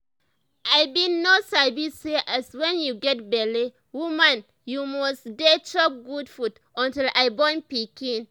i bin no sabi say as wen you get belle woman you must dey chop good food until i born pikin